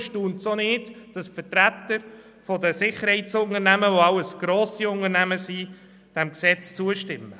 Deshalb erstaunt es auch nicht, dass die Vertreter der Sicherheitsunternehmen, die alle grosse Unternehmen sind, diesem Gesetz zustimmen.